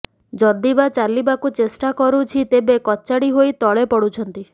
ଯଦିବା ଚାଲିବାକୁ ଚେଷ୍ଟା କରୁଛି ତେବେ କଚାଡି ହୋଇ ତଳେ ପଡୁଛନ୍ତି